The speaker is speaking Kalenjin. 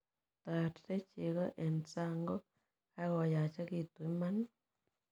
Tarte cheko eng sang ngo kakoyachekitu iman.